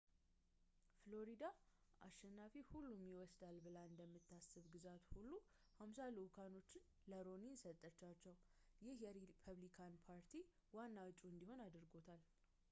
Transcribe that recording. ፍሎሪዳ አሸናፊ-ሁሉንም ይወስዳል ብላ እንደምታስብ ግዛት ሁሉንም ሃምሳ ልዑካኖቹዋን ለሮኒኒ ሰጠቻቸው ይህ የሪፐብሊካን ፓርቲ ዋና ዕጩ እንዲሆን አድርጎታል